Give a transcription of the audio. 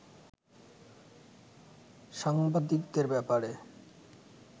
সাংবাদিকদের ব্যাপারে